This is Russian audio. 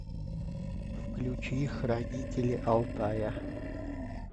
включи хранители алтая